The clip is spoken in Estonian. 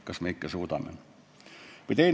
Kas me ikka suudame?